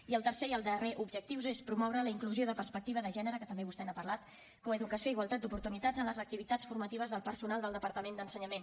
i el tercer i el darrer objectiu és promoure la inclusió de perspectiva de gènere que també vostè n’ha parlat coeducació i igualtat d’oportunitats en les activitats formatives del personal del departament d’ensenyament